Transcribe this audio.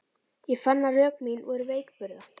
Ég fann að rök mín voru veikburða.